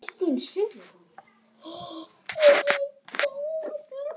Þetta virkaði og við lifðum.